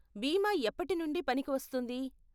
బీమా ఎప్పటి నుండి పనికి వస్తుంది?